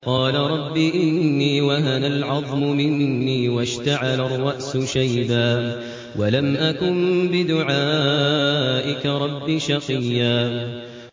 قَالَ رَبِّ إِنِّي وَهَنَ الْعَظْمُ مِنِّي وَاشْتَعَلَ الرَّأْسُ شَيْبًا وَلَمْ أَكُن بِدُعَائِكَ رَبِّ شَقِيًّا